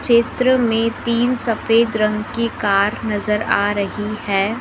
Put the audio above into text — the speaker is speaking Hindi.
चित्र में तीन सफेद रंग की कार नजर आ रही है।